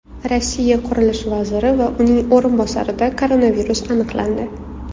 Rossiya qurilish vaziri va uning o‘rinbosarida koronavirus aniqlandi.